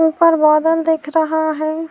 اپر بادل دیکھ رہا ہے۔